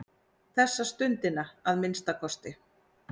Þessa stundina að minnsta kosti.